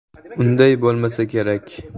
Unday bo‘lmasa kerak.